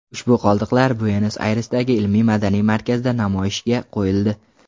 Ushbu qoldiqlar Buenos-Ayresdagi ilmiy-madaniy markazda namoyishga qo‘yildi.